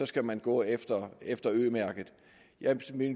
skal man gå efter efter ø mærket jeg